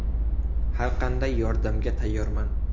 Har qanday yordamga tayyorman.